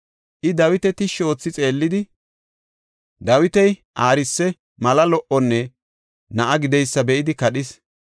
I Dawita tishshi oothi xeellidi, Dawiti aarise, mala lo77onne na7a gideysa be7idi kadhis.